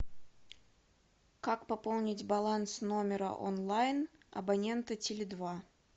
как пополнить баланс номера онлайн абонента теле два